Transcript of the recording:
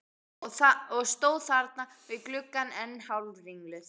Og stóð þarna við gluggann enn hálfringluð.